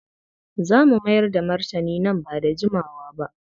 Za mu mayar da martani nan ba da jimawa ba.